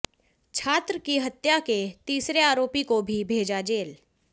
छात्र की हत्या के तीसरे आरोपी को भी भेजा जेल